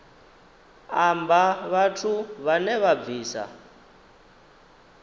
amba vhathu vhane vha bvisa